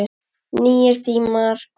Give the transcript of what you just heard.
Nýir tímar komu.